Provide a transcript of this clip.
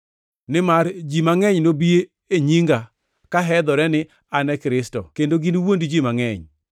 Nimar ji mangʼeny nobi e nyinga ka hedhore ni, ‘An e Kristo,’ kendo giniwuond ji mangʼeny.